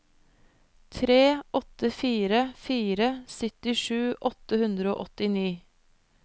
tre åtte fire fire syttisju åtte hundre og åttini